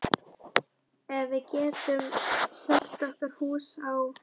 Ef við getum selt okkar hús á